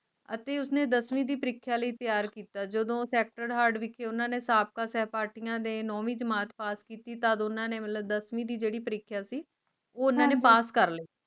ਅਤੇ ਉਸਨੇ ਦਸਵੀ ਦੀ ਪਰੀਖਿਆ ਲਯੀ ਤਯਾਰ ਕੀਤਾ ਜਦੋ sacred heart ਵਿਖੇ ਓਹਨਾ ਨੇ ਸਾਬਕਾ ਸਾਹਪਾਠੀਆਂ ਨੇ ਨੌਵੀਂ ਜਮਾਤ ਪਾਸ ਕੀਤੀ ਤਾਂ ਦੋਨਾਂ ਨੇ ਮਤਲਬ ਦਸਵੀਂ ਦੀ ਜਿਹੜੀ ਪਰੀਖਿਆ ਸੀ ਉਹ ਓਹਨਾ ਨੇ ਪਾਸ ਕਰ ਲਈ